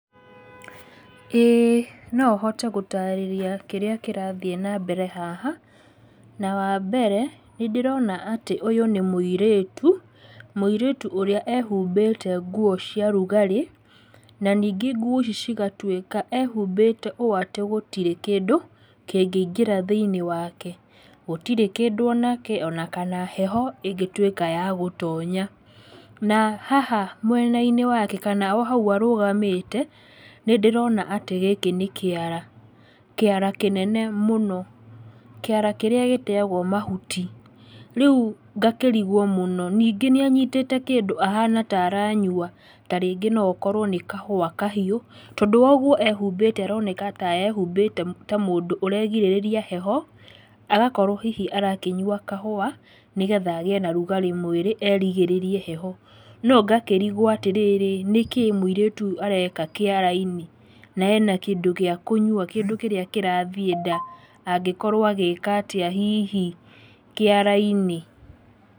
Ĩĩ no hote gũtarĩria kĩrĩa kĩrathiĩ na mbere haha, na wa mbere, nĩ ndĩrona atĩ ũyũ nĩ mũirĩtu. mũirĩtu ũrĩa ehumbĩte nguo ciarugarĩ, na ningĩ nguo ici cigatuĩka ehumbĩte ũũ atĩ gũtirĩ kĩndũ kĩngĩingĩra thĩinIĩ wake. Gũtirĩ kĩndũ onake onakana heho ingĩtuĩka ya gũtonya. Na haha mwena-inĩ wake, kana o hau arũgamĩte, nĩ ndĩrona atĩ gĩkĩ nĩ kĩara, kĩara kĩnene mũno, kĩara kĩrĩa gĩteyagwo mahuti, rĩu ngakĩriguo mũno, ningĩ nĩ anyitĩte kĩndũ ahana taranyua, ta rĩngĩ no akorwo nĩ kahũa kahiũ, tondũ woguo ehumbĩte aroneka ta ehumbĩte ta mũndũ ũregirĩrĩria heho, agakorwo hihi arakĩnyua kahũa, nĩgetha agĩe na rugarĩ mwĩrĩ erigĩrĩrie heho. No ngakĩriguo atĩrĩrĩ, nĩkĩĩ mũirĩtu ũyũ areka kĩara-inĩ? Na ena kĩndũ gĩa kũnyua, kĩndũ kĩrĩa kĩrathiĩ nda, angĩkorwo agĩka atĩa hihi kĩara-inĩ?